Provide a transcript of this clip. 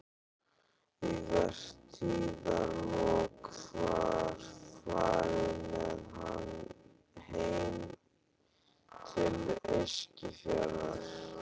Í vertíðarlok var farið með hann heim til Eskifjarðar.